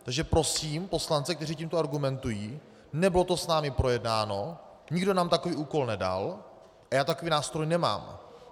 Takže prosím poslance, kteří tímto argumentují - nebylo to s námi projednáno, nikdo nám takový úkol nedal a já takový nástroj nemám.